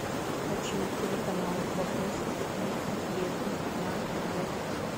хочу телеканал вопросы и ответы на тв